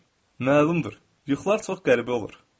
Məlumdur, yuxular çox qəribə olur.